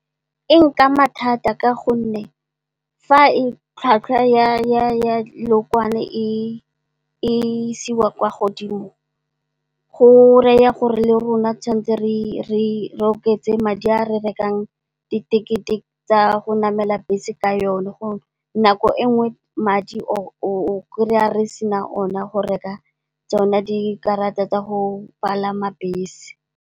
E nkama thata ka gonne fa tlhwatlhwa ya lookwane e isiwa kwa godimo go raya gore le rona re tshwanetse re oketse madi a re rekang ditekete tsa go namela bese ka yone. Nako e nngwe madi o kry-a re sena one go reka tsona dikarata tsa go palama bese.